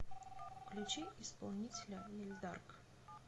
включи исполнителя эльдарк